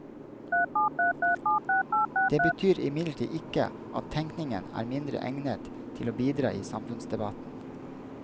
Det betyr imidlertid ikke at tenkningen er mindre egnet til å bidra i samfunnsdebatten.